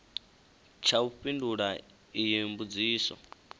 tsha u fhindula iyi mbudziso